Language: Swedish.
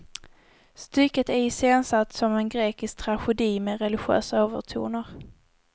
Stycket är iscensatt som en grekisk tragedi med religiösa övertoner.